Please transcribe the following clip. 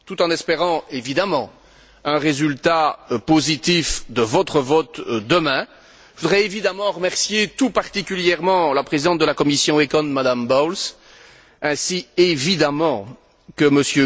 Tout en espérant, évidemment, un résultat positif de votre vote demain, je voudrais remercier tout particulièrement la présidente de la commission ECON, Madame Bowles, ainsi, évidemment, que M.